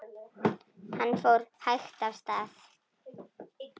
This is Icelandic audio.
Hann fór hægt af stað.